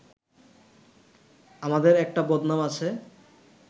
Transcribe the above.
আমাদের একটা বদনাম আছে